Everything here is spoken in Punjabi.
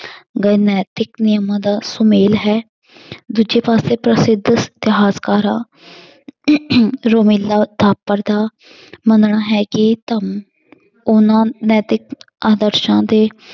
ਗਏ ਨੈਤਿਕ ਨਿਯਮਾਂ ਦਾ ਸੁਮੇਲ ਹੈ ਦੂਜੇ ਪਾਸੇ ਪ੍ਰਸਿਧ ਇਤਿਹਾਸ ਕਾਰਾਂ ਰੋਮੀਲਾ ਥਾਪਰ ਦਾ ਮੰਨਣਾ ਹੈ ਇਹ ਧੰਮ ਉਹਨਾਂ ਨੈਤਿਕ ਆਦਰਸ਼ਾਂ ਦੇ